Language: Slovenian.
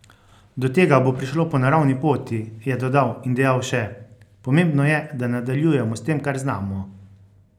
Do tega bo prišlo po naravni poti," je dodal in dejal še: "Pomembno je, da nadaljujemo s tem, kar znamo.